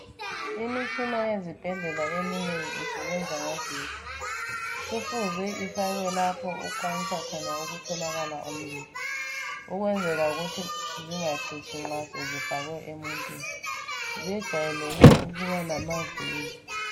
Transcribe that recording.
Imitshina yesibhedlela eminengi isebenza ngogetsi . Kufuze ifakwe lapho okukwanisa khona ukutholakala umlilo okwenzela ukuthi zingachitshi nxa sezifakwe emuntwini zejayeleke ukuba lamaviri.